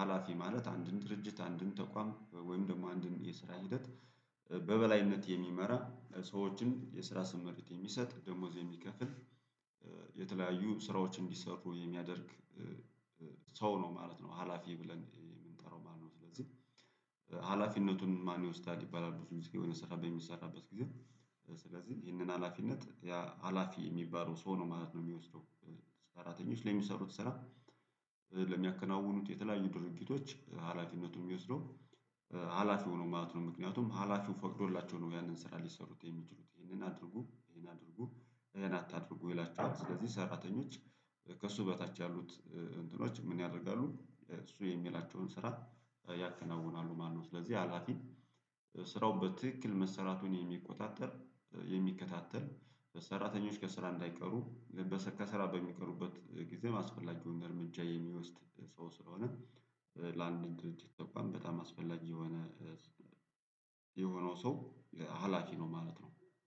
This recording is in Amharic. ሀላፊ ማለት አንድን ድርጅት አንድን ተቋም ወይም ደግሞ አንድን የስራ ሂደት በበላይነት የሚመራ ሰዎችን የስራ ስምሪት የሚሰጥ ደሞዝ የሚከፍል የተለያዩ ስራዎች እንዲሰሩ የሚያደርግ ሰው ነው ማለት ነው ሀላፊ የምንጠራው ማለት ነው። ስለዚህ ሀላፊነቱን ማን ይወስዳል ይባላል ብዙ ጊዜ የሆነ ስራ በሚሰራበት ጊዜ ስለዚህ ይህንን ሀላፊነት ሀላፊ የሚባለው ሰው ነው ማለት ነው የሚወስደው። ሰራተኞች ለሚሰሩት ስራ ለሚያከናውኑት የተለያዩ ድርጊቶች ሀላፊነቱን የሚወስደው ሀላፊ ነው ማለት ነው። ምክንያቱም ሀላፊው ፈቅዶላቸው ነው ያንን ስራ ሊሰሩት የሚችሉት ይሄንን አድርጉ ይሄን አድርጉ ይህን አታድርጉ ይላችኋል። ስለዚህ ሰራተኞች ከእሱ በታች ያሉት እንትኖች ምን ያደርጋሉ? እሱ የሚላቸውን ስራ ያከናውናሉ ማለት ነው። ስለዚህ ሀላፊ ስራው በትክክል መሰራቱን የሚቆጣጠር የሚከታተል ሰራተኞች ከስራ እንዳይቀሩ ከስራ በሚቀሩበት ጊዜ ማስፈላጊውን እርምጃ የሚወስድ ሰው ስለሆነ። ለአንድ ተቋም በጣም አስፈላጊ የሆነ የሆነው ሰው ሀላፊ ነው ማለት ነው።